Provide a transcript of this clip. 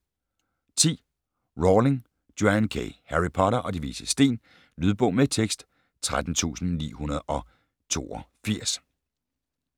10. Rowling, Joanne K.: Harry Potter og De Vises Sten Lydbog med tekst 13982